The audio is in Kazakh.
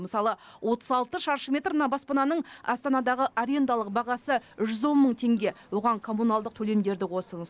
мысалы отыз алты шаршы метр мына баспананың астанадағы арендалық бағасы жүз он мың теңге оған коммуналдық төлемдерді қосыңыз